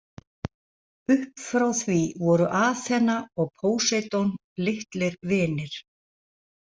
Upp frá því voru Aþena og Póseidon litlir vinir.